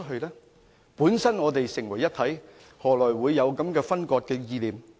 我們本身是成為一體，何來會有分割的意念呢？